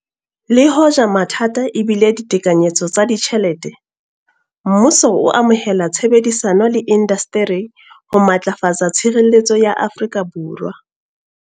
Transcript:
Le hoja mathata e bile ditekanyetso tsa ditjhelete, mmuso o amohela tshebedisano le indasteri ho matlafatsa tshireletso ya Afrika Borwa.